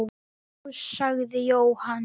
Já, sagði Jóhann.